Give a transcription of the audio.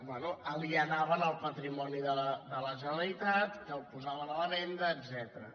bé alienaven el patrimoni de la generalitat que el posaven a la venda etcètera